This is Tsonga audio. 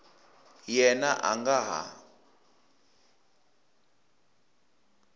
yena a a nga ha